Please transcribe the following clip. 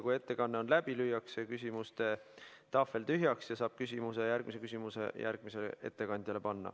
Kui ettekanne on läbi, lüüakse küsimuste tahvel tühjaks ja saab järgmise küsimuse panna järgmisele ettekandjale.